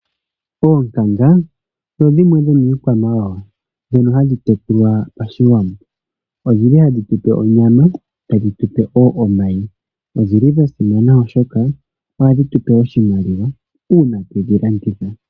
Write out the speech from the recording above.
Oonkanga odho dhimwe dho mii kwamawawa, dhono hadhi tekulwa pashiwambo. odhili hadhi tupe onyama tadhi tupe woo omayi, odhili dha simana oshoka oha dhi tupe oshimaliwa uuna twedhi landitha.